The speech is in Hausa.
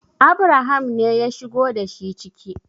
Abraham ne ya shigo da shi ciki